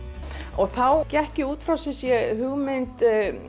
og þá gekk ég út frá sumsé hugmynd